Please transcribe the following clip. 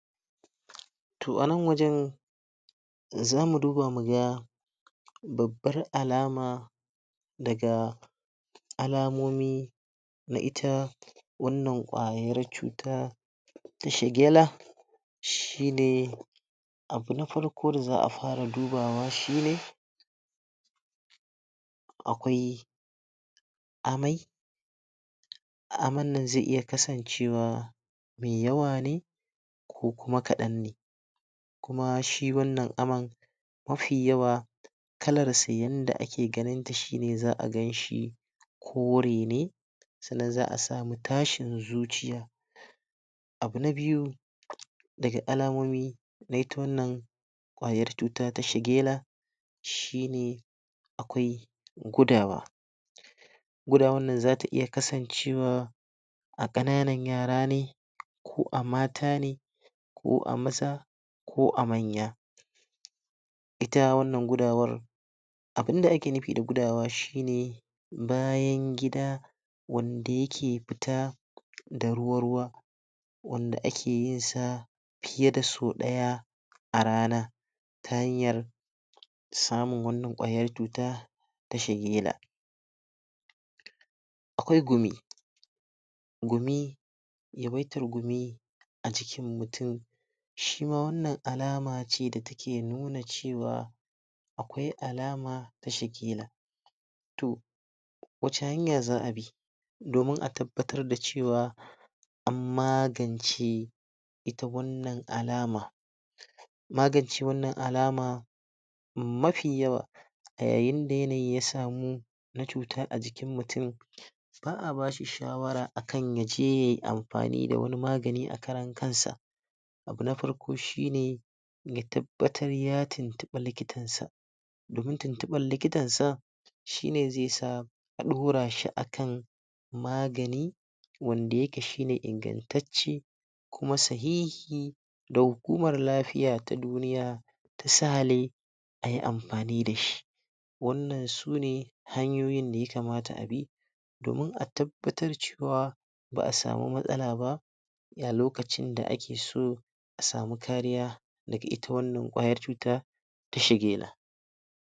Toh a nan wajen zamu duba mu ga babbar alam daga alamomi na ita wannan kwayar cuta shi ne abu na farko da za a fara dubawa shi ne akwai amai aman nan ze iya kasancewa me yawa ne ko kuma kadan ne kuma shi wannan amman mafi yawa kalarsa yanda ake ganin ta shi ne za a ganshi kori ne sannan za a sami tashin zuciya. Abu na biyu, daga alamomi kwayar cuta ta shagela shi ne Akwai gudawa gudawan nan zata iya kasancewa a kananan yara ne ko a mata ne ko a ko a manya ita wannan gudawar abun da ake nufi da gudawa shi ne bayan gida wanda yake fita da ruwa ruwa wanda ake yin sa fiye da sau daya a rana ta hanyar samun wannan kwayan cuta ta shagela akwai gumi, gumi yawaitar gumi a cikin mutum shima wannan alama ce wanda take nuna cewa akwai alama da shagela toh wace hanya za a bi domin a tabbatar da cewa an magance ita wannan alama magancewan alama mafi yawa da yayin da yanayi ya samu na cuta a jikin mutum ba a bashi shawara akan ya je yayi amfani da wani magani a karan kansa, abu na farko shi ne ya tabbatar ya tuntube likitar sa domin tuntuban likitan sa, shi ne ze sa a dura shi akan magani wanda yake shi ne inganttace kuma don lafiya ta duniya ayi amfani da shi. Wannan sune hanyoyin da ya kamata a bi domin a tabbatar cewa ba a samu matsala ba a lokacin da ake so a samu kariya daga ita wannan kwayar cuta